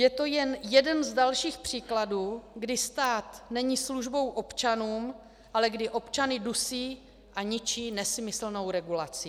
Je to jen jeden z dalších příkladů, kdy stát není službou občanům, ale kdy občany dusí a ničí nesmyslnou regulací.